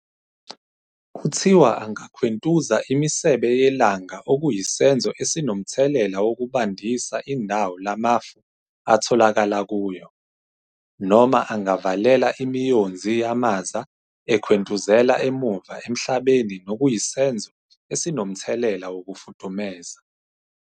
Kuthiwa angakhwentuza imisebe yelanga okuyisenzo esinomthelela wokubandisa indawo la mafu atholakala kuyo, noma angavalela imiyonzi yamaza ekhwentuzela emuva emhlabeni nokuyisenzo esinomthelela wokufudumeza.